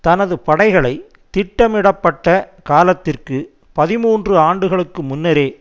தனது படைகளை திட்டமிடப்பட்ட காலத்திற்கு பதிமூன்று ஆண்டுகளுக்கு முன்னரே